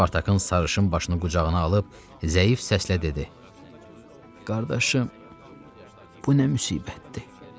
Spartakın sarışın başını qucağına alıb zəif səslə dedi: “Qardaşım, bu nə müsibətdir?”